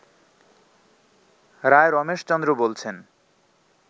রায় রমেশ চন্দ্র বলছেন